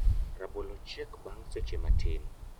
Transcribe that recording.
Rabolo chiek bang' seche matin